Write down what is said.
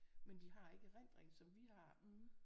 Men de har ikke erindringen som vi har